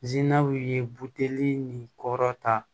ye buteli nin kɔrɔta